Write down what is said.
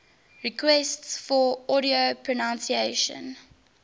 requests for audio pronunciation